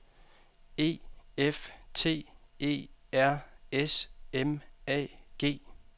E F T E R S M A G